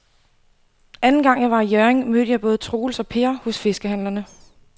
Anden gang jeg var i Hjørring, mødte jeg både Troels og Per hos fiskehandlerne.